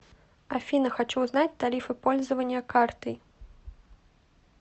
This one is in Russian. афина хочу узнать тарифы пользования картой